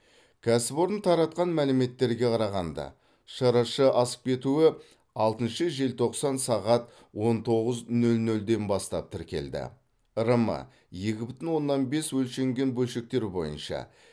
кәсіпорын таратқан мәліметтерге қарағанда шрш асып кетуі алтыншы желтоқсан сағат он тоғыз нөл нөлден бастап тіркелді рм екі бүтін оннан бес өлшенген бөлшектер бойынша